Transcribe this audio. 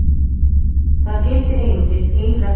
Þar gildir einungis ein regla.